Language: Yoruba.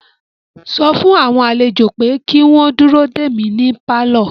Sọ fún àwọn àlejò pé kí wọ́n dúró dè mí ní pálọ̀